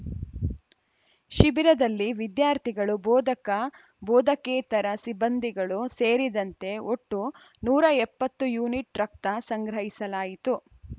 ಶಿಬಿರದಲ್ಲಿ ವಿದ್ಯಾರ್ಥಿಗಳು ಬೋಧಕ ಬೋಧಕೇತರ ಸಿಬ್ಬಂದಿಗಳು ಸೇರಿದಂತೆ ಒಟ್ಟು ನೂರ ಎಪ್ಪತ್ತು ಯೂನಿಟ್‌ ರಕ್ತ ಸಂಗ್ರಹಿಸಲಾಯಿತು